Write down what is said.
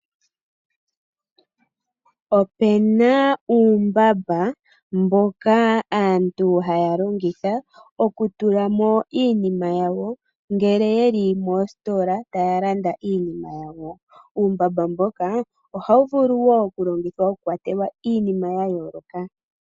Ope na uumbamba mbono aantu haya longitha okutula mo iinima yawo ngele yeli moositola taya landa iipumbiwa yawo. Uumbamba mboka ohawu vulu wo okulongithwa, okukwatelwa iinima ya yooloka.